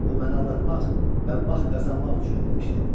Bu məni aldatmaq və vaxt qazanmaq üçün edilmişdi.